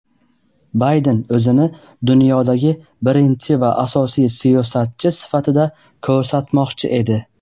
Bayden o‘zini dunyodagi birinchi va asosiy siyosatchi sifatida ko‘rsatmoqchi edi.